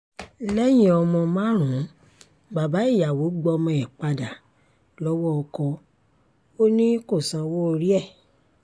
lẹ́yìn ọmọ márùn-ún bàbá ìyàwó gbọ́mọ ẹ̀ padà lọ́wọ́ ọkọ ò ní kó sanwó orí ẹ̀